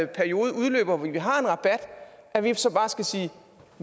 periode udløber hvor vi har en rabat så bare skal sige